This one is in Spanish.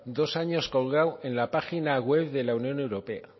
dos años colgado en la página web de la unión europea